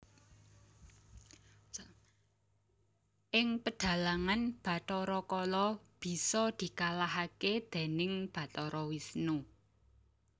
Ing pedhalangan Bathara Kala bisa dikalahaké déning Bathara Wisnu